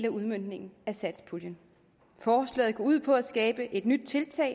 af udmøntningen af satspuljen forslaget går ud på at skabe et nyt tiltag